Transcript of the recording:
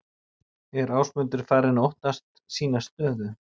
Er Ásmundur farinn að óttast sína stöðu?